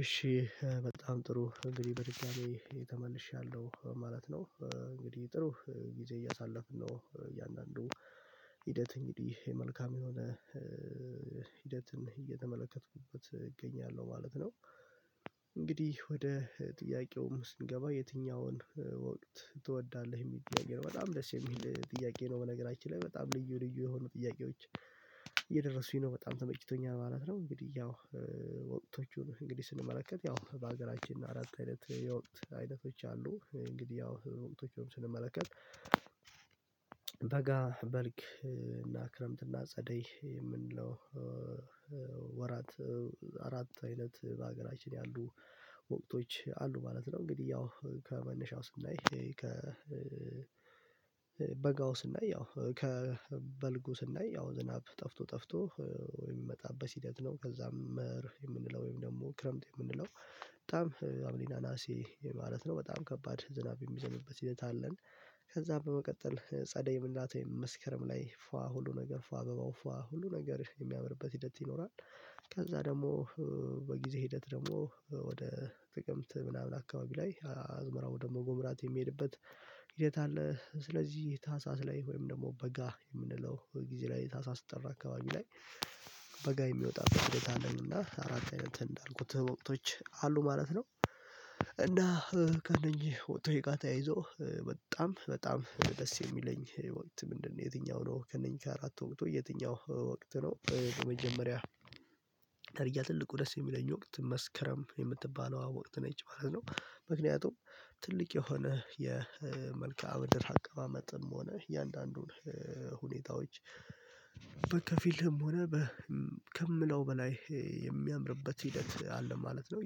እሺ በጣም ጥሩ እንግዲህ በድጋሚ ተመልሻለሁ ማለት ነው እንግዲህ ጥሩ ጊዜ እያሳለፍን ነው እያንዳንዱ ሂደት እንግዲህ መልካም የሆነ ሂደትን እየተመለከትኩበት እገኛለሁ ማለት ነው። እንግዲህ ወደ ጥያቄውም ስንገባ የትኛውን ወቅት ትወዳለህ የሚል ጥያቄ ነው በጣም ደስ የሚል ጥያቄ ነው በነገራችን ላይ በጣም ልዩ ልዩ የሆኑ ጥያቄዎች። እየደረሱኝ ነው በጣም ተመችቶኛል ማለት ነው። እንግዲህ ያው ወጥቶቹን እንግዲህ ስንመለከት ያው በአገራችን አራት አይነት የወቅት አይነቶች አሉ። እንግዲህ ያው ወቅቶቹንም ስንመለከት በጋ በልክ እና ክረምት እና ጸደይ የምንለው ወራት አራት አይነት በሀገራችን ያሉ ወቅቶች አሉ ማለት ነው። እንግዲህ ያው ከመነሻው ስናይ ከ በጋው ስናይ ያው ከበልጉ ያው ዝናብ ጠፍቶ ጠፍቶ ወይም የሚመጣበት ሂደት ነው። ከዛም መር የምንለው ወይም ደግሞ ክረምት የምንለው በጣም ሀምሊና ነሀሴ ማለት ነው በጣም ከባድ ዝናብ የሚዘንብበት ሂደት አለን። ከዛ በመቀጠል ጸደይ ምላት ወይም መስከረም ላይ ፏ ሁሉ ነገር ፏ አበባው ፏ ሁሉ ነገር የሚያምርበት ሂደት ይኖራል። ከዛ ደግሞ በጊዜ ሂደት ደግሞ ወደ ጥቅምት ምናምን አካባቢ ላይ አዝመራው ደግሞ ጎምራት የሚሄድበት ሂደት አለ። ስለዚህ ታህሳስ ላይ ወይም ደግሞ በጋ የምንለው ጊዜ ላይ ታሳስጠራ አካባቢ ላይ በጋ የሚወጣበት ሂደት አለንና አራት አይነት እንዳልኩት ወቅቶች አሉ ማለት ነው። እና ከእነኚህ ወቅቶች ጋር ተያይዞ በጣም ደስ የሚለኝ ወቅት ምንድነው? የትኛው ነው ከእነኚህ ከአራት ወቅት ወይ የትኛው ወቅት ነው በመጀመሪያ መጀመሪያ ተርያ ትልቁ ደስ የሚለኝ ወቅት መስከረም የምትባለው ወቅት ነች ማለት ነው። ምክንያቱም ትልቅ የሆነ የመልከ አምድር አቀማመጥም ሆነ እያንዳንዱን ሁኔታዎች በከፊልም ሆነ ከምለው በላይ የሚያምርበት ሂደት አለ ማለት ነው።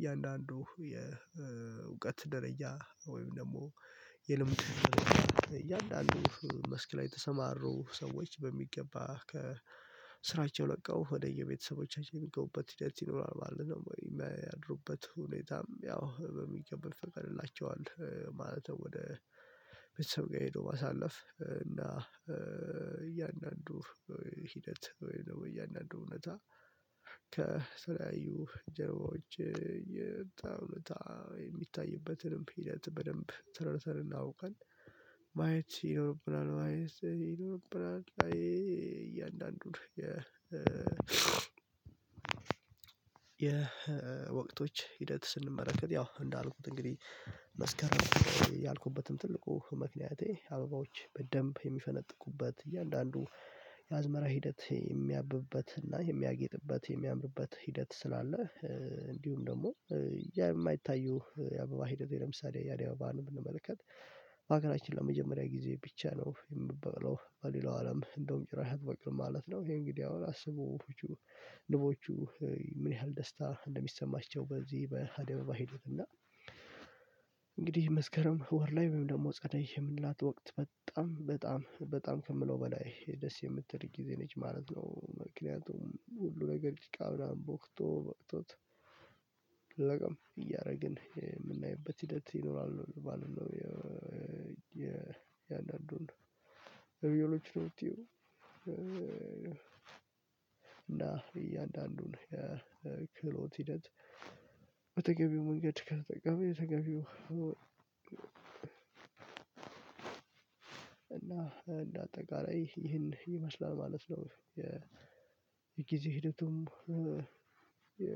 እያንዳንዱ የእውቀት ደረጃ ወይም ደግሞ የልምድ እያንዳንዱ መስክ ላይ የተሰማሩ ሰዎች በሚገባ ከስራቸው ለቀው ወደ የቤተሰቦቻችን የሚገቡበት ሂደት ይኖራል ማለት ነው። የሚያድሩበት ሁኔታም ያው በሚገባ ትቀርላቸዋለህ ማለት ነው። ወደ ቤተሰብ ጋር ሄዶ ማሳለፍ እና እያንዳንዱ ሂደት ወይ እያንዳንዱ እውነት ከሰላዩ ጀርባዎች የሚታይበትንም ሂደት በደንብ ተረተር እናውቃለን። ማየት ይኖርብናል ማየት ይኖርብናል። እያንዳንዱን የወቅቶች ሂደት ስንመለከት ያው እንዳልኩት እንግዲህ መስከረም ያልኩበትም ትልቁ ምክንያቴ አበባዎች በደንብ የሚፈነጥቁበት እያንዳንዱ የአዝመራ ሂደት የሚያብብበት እና የሚያጌጥበት የሚያምርበት ሂደት ስላለ እንዲሁም ደግሞ የማይታዩ የአበባ ሂደት ለምሳሌ የአበባን ብንመለከት በአገራችን ለመጀመሪያ ጊዜ ብቻ ነው የምበለው በሌላው አለም እንደውም ጭራሽ አትበቅልም ማለት ነው። ይሄ እንግዲህ አሁን አስቡ። ንቦቹ ምን ያህል ደስታ እንደሚሰማቸው። በዚህ በአደባባይ ሄዱትና እንግዲህ መስከረም ወር ላይ ወይም ደግሞ ጸዳይ የምንላት ወቅት በጣም በጣም በጣም ከምለው በላይ ደስ የምትል ጊዜ ነች ማለት ነው። ምክንያቱም ሁሉ ነገር ጭቃ ብላ ቦክቶ በቅቶት እያደረግን የምናይበት ሂደት ይኖራል። ባልነው የአንዳንዱን የእያንዳንዱን ቪዮሎጂ ነው። እና እያንዳንዱን የክህሎት ሂደት በተገቢው መንገድ ከተጠቀመ የተገቢው እና እንደ አጠቃላይ ይህን ይመስላል ማለት ነው። የጊዜ ሂደቱም የ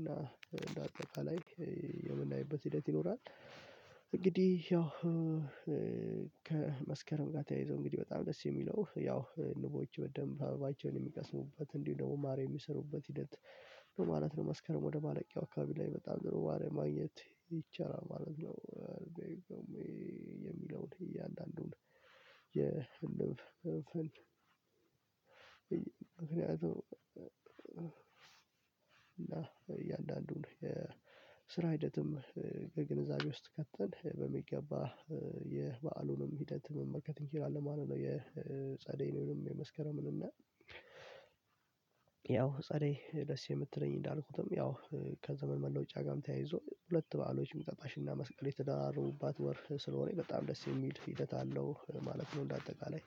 እና እንደ አጠቃላይ የምናይበት ሂደት ይኖራል። እንግዲህ ያው ከመስከረም ጋር ተያይዞ እንግዲህ በጣም ደስ የሚለው ያው ንቦች በደንብ አበባቸውን የሚቀስሙበት እንዲሁ ደግሞ ማር የሚሰሩበት ሂደት ማለት ነው። መስከረም ወደ ባለቂያው አካባቢ ላይ በጣም ደሮ ማር ማግኘት ይቻላል ማለት ነው። የሚለውን እያንዳንዱን የህንድ ፍን ምክንያቱም እና እያንዳንዱን የስራ ሂደትም ግንዛቤ ውስጥ ከተን በሚገባ የበአሉንም ሂደት መመልከት እንችላለን ማለት ነው። የጸደይ ነው የመስከረምን እና ያው ፀሬ ደስ የምትለኝ እንዳልኩትም ያው ከዘመን መለወጫ ጋርም ተያይዞ ሁለት በዓሎችም ገባሽና መስቀል የተደራረቡባት ወር ስለሆነ በጣም ደስ የሚል ሂደት አለው ማለት ነው። እንደ አጠቃላይ